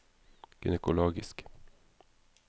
gynekologisk